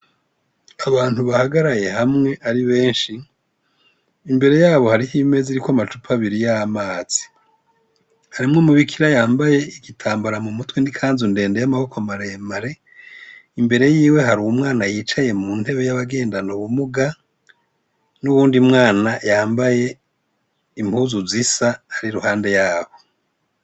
Abantu bahagaraye hamwe ari benshi imbere yabo hari ho ibimezi ri ko amacupa abiri ya mazi harimwo mu bikira yambaye igitambara mu mutwe nikanzundende y'amaboko maremare imbere yiwe hari umwana yicaye mu ntebe y'abagendano bumuga n'uwundi mwana yambaye impuzu zisa ari ruhande yaho.